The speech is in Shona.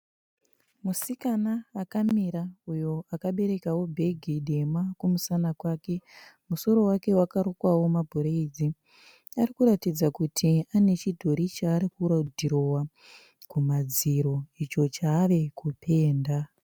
Musikana akamira uyo akaberekawo bhegi dema kumusana kwake. Musoro wake wakarukwawo mabraids. Arikuratidza kuti ane chimudhori chaari kudhirowa kumadziro icho chaari kupenda.